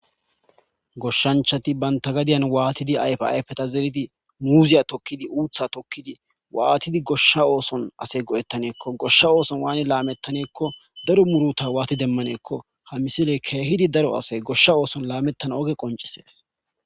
Goshanchati bantta gadiyan waaxidi banta zeridi muuziya tokidi,uutha tokidi waatidi gosha ooson asi go7etaneeko,goshshsa ooson waani laametaneko, daro muruta waati demaneeko, misile keehidi daro ase goshsha ooson laametanna oge qoncisees.